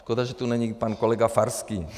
Škoda, že tu není pan kolega Farský.